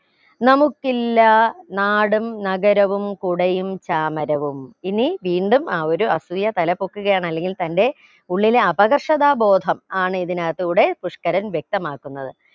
നമുക്കില്ലാ നാടും നഗരവും കുടയും ചാമരവും ഇനി വീണ്ടും ആ ഒരു അസൂയ തലപൊക്കുകയാണ് അല്ലെങ്കിൽ തന്റെ ഉള്ളിലെ അപകർഷതാ ബോധം ആണ് ഇതിനകത്ത് കൂടെ പുഷ്ക്കരൻ വ്യക്തമാക്കുന്നത്